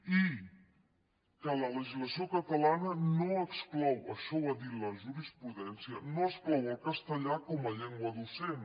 i que la legislació catalana no exclou això ho ha dit la jurisprudència el castellà com a llengua docent